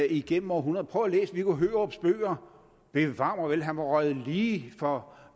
igennem århundreder prøv at læse viggo hørups bøger bevar mig vel han var røget lige for